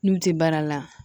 N'u tɛ baara la